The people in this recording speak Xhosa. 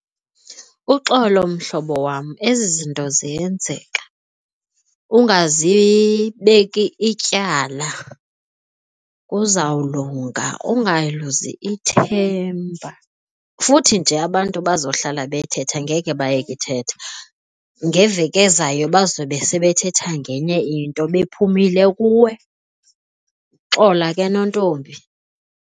Uxolo mhlobo wam, ezi zinto ziyenzeka. Ungazibeki ityala. Kuzawulunga ungaluzi ithemba, futhi nje abantu bazohlala bethetha ngeke bayeke uthetha. Ngeveki ezayo bazobe sebethetha ngenye into bephumile kuwe. Xola ke, nontombi.